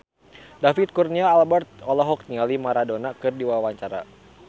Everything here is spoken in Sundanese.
David Kurnia Albert olohok ningali Maradona keur diwawancara